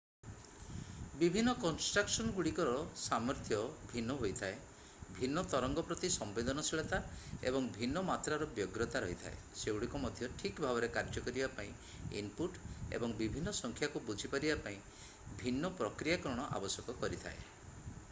ବିଭିନ୍ନ କନଷ୍ଟ୍ରକସନଗୁଡ଼ିକର ସାମର୍ଥ୍ୟ ଭିନ୍ନ ହୋଇଥାଏ ଭିନ୍ନ ତରଙ୍ଗ ପ୍ରତି ସମ୍ବେଦନଶୀଳତା ଏବଂ ଭିନ୍ନ ମାତ୍ରାର ବ୍ୟଗ୍ରତା ରହିଥାଏ ସେଗୁଡ଼ିକ ମଧ୍ୟ ଠିକ ଭାବରେ କାର୍ଯ୍ୟ କରିବା ପାଇଁ ଇନପୁଟ୍ ଏବଂ ବିଭିନ୍ନ ସଂଖ୍ୟାକୁ ବୁଝିପାରିବା ପାଇଁ ଭିନ୍ନ ପ୍ରକ୍ରିୟାକରଣ ଆବଶ୍ୟକ କରିଥାଏ